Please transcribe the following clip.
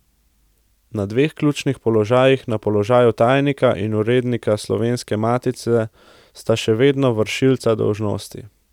Na dveh ključnih položajih, na položaju tajnika in urednika Slovenske matice, sta še vedno vršilca dolžnosti.